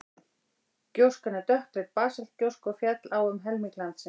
gjóskan er dökkleit basaltgjóska og féll á um helming landsins